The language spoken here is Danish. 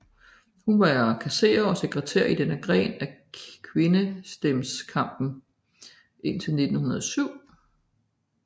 Hun var kasserer og sekretær i denne gren af kvindestemmeretskampen indtil 1907